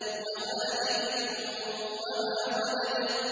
وَوَالِدٍ وَمَا وَلَدَ